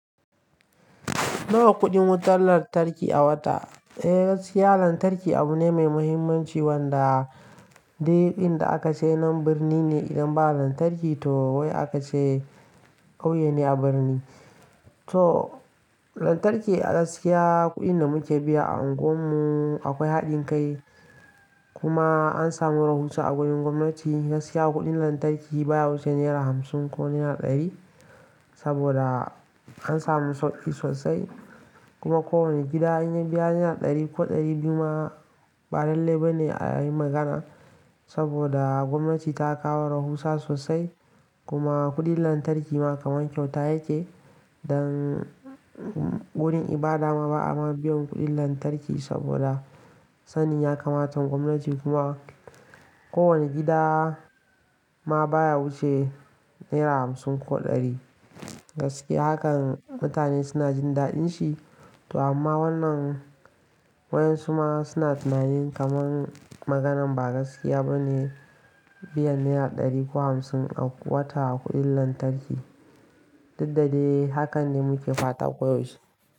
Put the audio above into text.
Nawa kuɗin wutar lantarki a wata? Eh, gaskiya lantarki abu ne mai muhimmanci wanda dai duk inda aka ce nan birni ne idan ba lantarki to wai aka ce ƙauye ne a birni. To lantarki a gaskiya kuɗin da muke biya a unguwarmu akwai haɗin kai kuma an samu rahusa a gurin gwamnati. Gaskiya kuɗin lantarki baya wuce naira hamsin ko naira ɗari saboda an samu sauƙi sosai. Kuma kowanne gida in ya biya naira ɗari ko ɗari biyu ma ba dalle ba ne a yi magana saboda gwamnati ta kawo rahusa sosai. Kuma kuɗin lantarki ma kaman kyauta yake. Dan gurin ibada ma ba'a ma biyan kuɗin lantarki saboda sanin ya kamatan gwamnati kuma kowane gida ma baya wuce naira hamsin ko ɗari. Gaskiya hakan mutane suna jin daɗin shi. To amma wannan waƴansu ma suna tunanin kaman maganan ba gaskiya ba ne biyan naira ɗari ko hamsin a wata kuɗin lantarki. Duk da dai hakan ne muke fata ko yaushe.